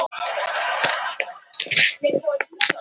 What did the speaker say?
Hún talar ekki mikið um stráka sem hún fær áhuga á.